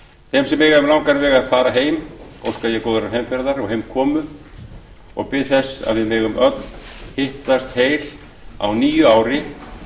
þeim sem eiga um langan veg heim að fara óska ég góðrar heimferðar og heimkomu og bið þess að við megum öll hittast heil á nýju ári